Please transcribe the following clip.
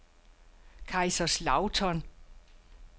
Kaiserslautern